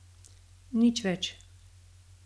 Nič več.